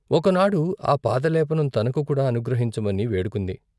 ఒకనాడు ఆ పాదలేపనం తనకు కూడా అనుగ్ర హించమని వేడుకుంది.